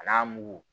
A n'a mugu